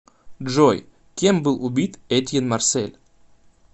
джой кем был убит этьен марсель